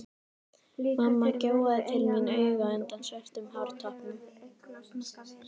Mamma gjóaði til mín auga undan svörtum hártoppnum.